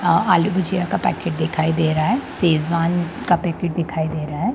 अ आलू भुजिया का पैकेट दिखाई दे रहा है सेजवान का पैकेट दिखाई दे रहा है।